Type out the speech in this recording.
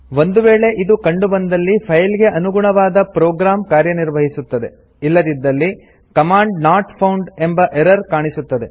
ಒಂದು ವೇಳೆ ಇದು ಕಂಡು ಬಂದ್ದಲ್ಲಿ ಫೈಲ್ ಗೆ ಅನುಗುಣವಾದ ಪ್ರೋಗ್ರಾಮ್ ಕಾರ್ಯನಿರ್ವಹಿಸುತ್ತದೆ ಇಲ್ಲದಿದ್ದಲ್ಲಿ ಕಮಾಂಡ್ ನಾಟ್ ಫೌಂಡ್ ಎಂಬ ಎರರ್ ಕಾಣಿಸುತ್ತದೆ